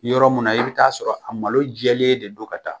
Yɔrɔ min na i bɛ ta'a sɔrɔ a malo jɛlen de don ka taa